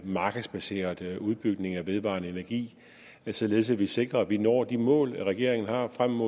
markedsbaseret udbygning af vedvarende energi således at vi sikrer at vi når de mål regeringen har frem